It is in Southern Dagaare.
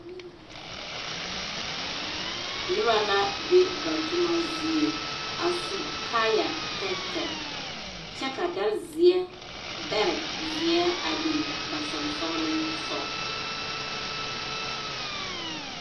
Noba la be ba toma zie a su kaaya tɛɛtɛɛ kyɛ ka dari zeɛ a biŋ ba soŋsoglesogɔ.